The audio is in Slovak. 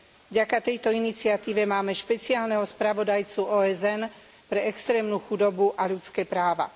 Vďaka tejto iniciatíve máme špeciálneho spravodajcu OSN pre extrémnu chudobu a ľudské práva.